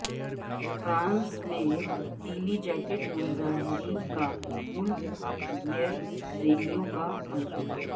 France میں پیلی jacket مظاہرین کا ملک گیر ریلیوں کا منصوبہ